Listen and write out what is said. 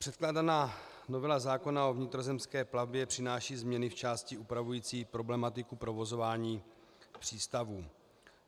Předkládaná novela zákona o vnitrozemské plavbě přináší změny v části upravující problematiku provozování přístavů.